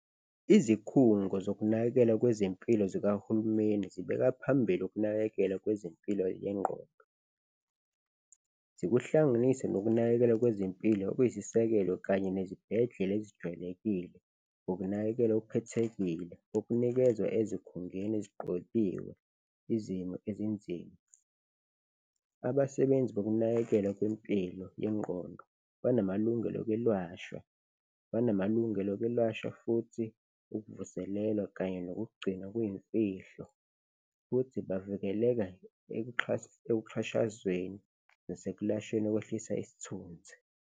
Izikhungo zokunakekelwa kwezempilo zikahulumeni zibeka phambili ukunakekelwa kwezempilo yengqondo zikuhlanganise nokunakekelwa kwezempilo kwizisekelo kanye nezibhedlela ezijwayelekile ngokunakekelwa okukhethekile okunikezwa ezikhungeni eziqokiwe izimo ezinzima. Abasebenzi bokunakekelwa kwempilo yengqondo banamalungelo okwelwashwa, banamalungelo okwelwashwa futhi ukuvuselelwa kanye nokugcinwa kuyimfihlo futhi bavikeleka ekuxhashazweni nasekulashweni okwehlisa isithunzi.